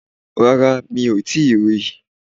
Rárá mi ò tíì ri